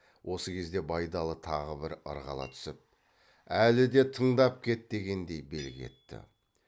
осы кезде байдалы тағы бір ырғала түсіп әлі де тыңдап кет дегендей белгі етті